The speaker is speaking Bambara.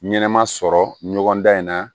Ɲɛnɛma sɔrɔ ɲɔgɔn dan in na